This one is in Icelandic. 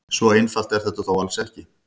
Svo einfalt er þetta þó alls ekki.